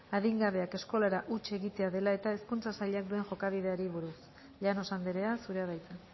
adingabeak eskolara huts egitea dela eta hezkuntza sailak duen jokabideari buruz llanos andrea zurea da hitza